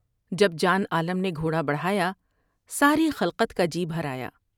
جب جان عالم نے گھوڑا بڑھایا ، ساری خلقت کا جی بھر آیا ۔